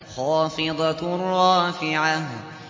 خَافِضَةٌ رَّافِعَةٌ